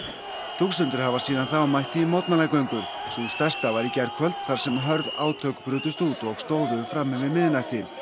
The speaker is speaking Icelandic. þúsundir hafa síðan þá mætt í mótmælagöngur sú stærsta var í gærkvöld þar sem hörð átök brutust út og stóðu fram yfir miðnætti